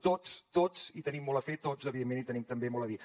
tots tots hi tenim molt a fer tots evidentment hi tenim també molt a dir